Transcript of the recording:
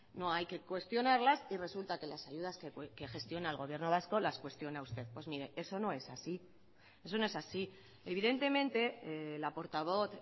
no hay que cuestionarlas y resulta que las ayudas que gestiona el gobierno vasco las cuestiona usted pues mire eso no es así eso no es así evidentemente la portavoz